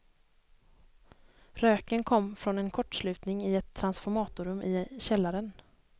Röken kom från en kortslutning i ett transformatorrum i källaren.